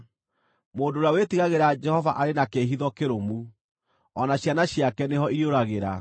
Mũndũ ũrĩa wĩtigagĩra Jehova arĩ na kĩĩhitho kĩrũmu, o na ciana ciake nĩho irĩũragĩra.